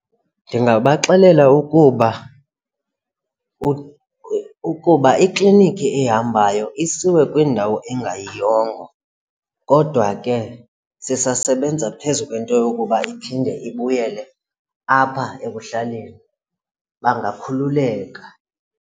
Ndingabaxelela ukuba ukuba ikliniki ehambayo isiwe kwindawo engayiyongo kodwa ke sisasebenza phezu kwento yokuba iphinde ibuyele apha ekuhlaleni bangakhululeka.